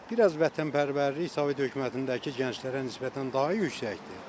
Bir az vətənpərvərlik Sovet hökümətindəki gənclərə nisbətən daha yüksəkdir.